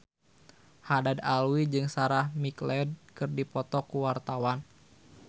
Haddad Alwi jeung Sarah McLeod keur dipoto ku wartawan